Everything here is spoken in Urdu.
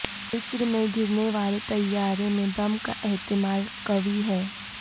مصر میں گرنے والے طیارے میں بم کا احتمال قوی ہے